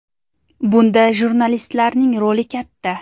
Bunda jurnalistlarning roli katta.